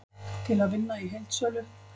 Til að vinna í heildsölu